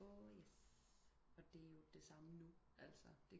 Åh yes og det er jo det samme nu altså